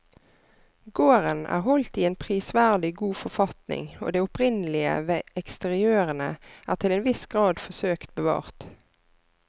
Gården er holdt i en prisverdig god forfatning og det opprinnelige ved eksteriørene er til en viss grad forsøkt bevart.